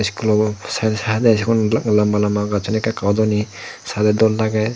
eskulo saide saide sigon lamba lamba gajon eke eke odoni sade dol lage.